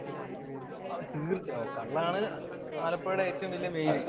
ഓ, തീര്‍ച്ചയായും. കള്ളാണ് ആലപ്പുഴയുടെ മെയിന്‍